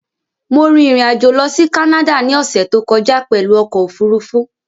Mo rin ìrìn-àjò lọ sí Canada ní ọ̀ṣẹ̀ tó kọjá pẹ̀lú ọkọ̀ òfurufú